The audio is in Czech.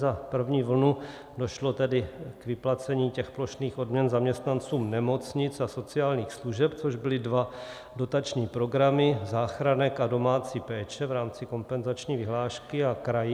Za první vlnu došlo tedy k vyplacení těch plošných odměn zaměstnancům nemocnic a sociálních služeb, což byly dva dotační programy, záchranek a domácí péče v rámci kompenzační vyhlášky, a kraji.